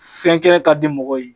Fɛn kɛ ka di mɔgɔw ye